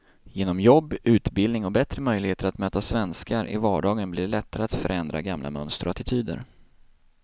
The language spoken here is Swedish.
Genom jobb, utbildning och bättre möjligheter att möta svenskar i vardagen blir det lättare att förändra gamla mönster och attityder.